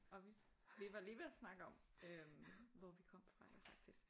Og vi vi var lige ved at snakke om øh hvor vi kom fra jo faktisk